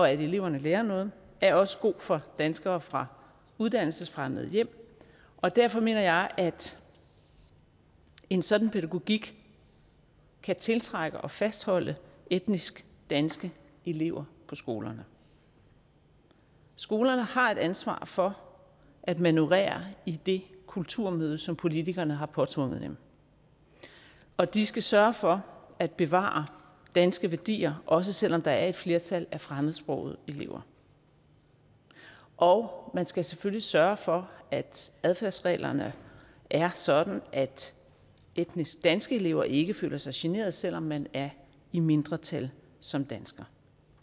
at eleverne lærer noget er også god for danskere fra uddannelsesfremmede hjem og derfor mener jeg at en sådan pædagogik kan tiltrække og fastholde etnisk danske elever på skolerne skolerne har et ansvar for at manøvrere i det kulturmøde som politikerne har påtvunget dem og de skal sørge for at bevare danske værdier også selv om der er et flertal af fremmedsprogede elever og man skal selvfølgelig sørge for at adfærdsreglerne er sådan at etnisk danske elever ikke føler sig generet selv om man er i mindretal som dansker